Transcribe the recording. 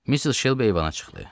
Missis Shelby eyvana çıxlı.